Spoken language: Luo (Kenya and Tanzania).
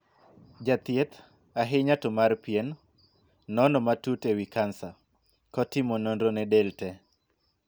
Jathieth, ahinya to mar pien, nono matut e wii kansa, kotimo nonro ne del tee.